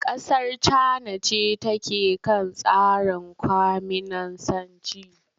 Kasar Cana ce take kan tsarin kwaminisanci.